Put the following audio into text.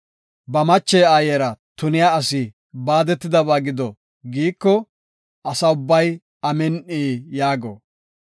“Ba mache aayera tuniya asi baadetidaysa gido” giiko, Asa ubbay, “Amin7i” yaago.